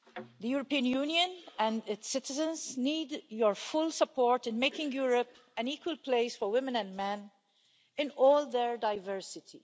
The European Union and its citizens need your full support in making Europe an equal place for women and men in all their diversity.